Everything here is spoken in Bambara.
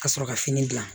Ka sɔrɔ ka fini gilan